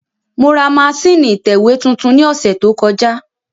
Mo ra masínìì ìtẹ̀wé tuntun ní ọ̀sẹ̀ tó kọjá